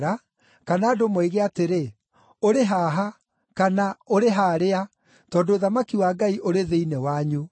kana andũ moige atĩrĩ, ‘Ũrĩ haha,’ kana ‘Ũrĩ harĩa,’ tondũ ũthamaki wa Ngai ũrĩ thĩinĩ wanyu.”